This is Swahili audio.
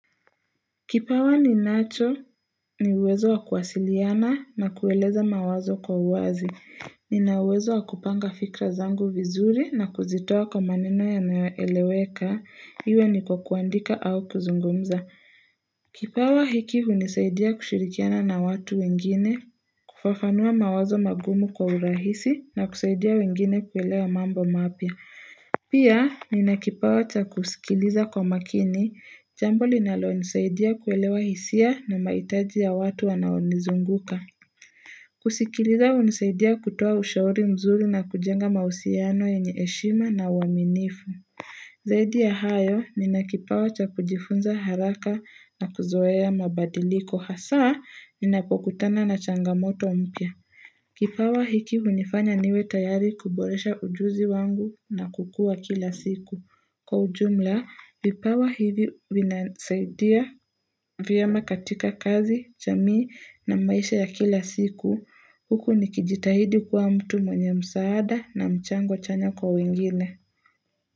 Kipawa ninacho ni uwezo wa kuwasiliana na kueleza mawazo kwa uwazi. Nina uwezo wa kupanga fikra zangu vizuri na kuzitoa kwa maneno yanayoeleweka, iwe ni kwa kuandika au kuzungumza. Kipawa hiki hunisaidia kushirikiana na watu wengine, kufafanua mawazo magumu kwa urahisi na kusaidia wengine kuelewa mambo mapya. Pia, nina kipawa cha kusikiliza kwa makini, jambo linalonisaidia kuelewa hisia na mahitaji ya watu wanaonizunguka. Kusikiliza hunisaidia kutoa ushauri mzuri na kujenga mahusiano yenye heshima na uaminifu. Zaidi ya hayo, nina kipawa cha kujifunza haraka na kuzoea mabadiliko hasa, ninapokutana na changamoto mpya. Kipawa hiki hunifanya niwe tayari kuboresha ujuzi wangu na kukua kila siku. Kwa ujumla, vipawa hivi vinasaidia vyema katika kazi, jamii na maisha ya kila siku. Huku nikijitahidi kuwa mtu mwenye msaada na mchango chanya kwa wengine.